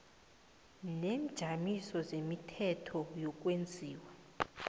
neenjamiso zomthetho wokwenziwa